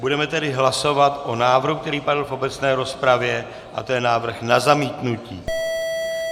Budeme tedy hlasovat o návrhu, který padl v obecné rozpravě, a to je návrh na zamítnutí.